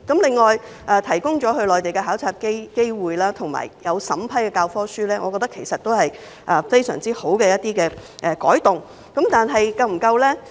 此外，提供到內地考察的機會，以及審批教科書，我認為均是非常好的改動，但是否足夠呢？